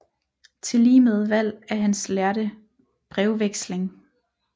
Tilligemed Valg af hans lærde Brevvexling